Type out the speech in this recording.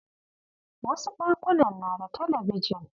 Wasu ɗakunan na da talabijin.